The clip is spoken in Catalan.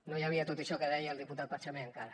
no hi havia tot això que deia el diputat pachamé encara